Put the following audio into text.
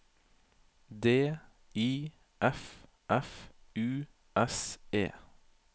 D I F F U S E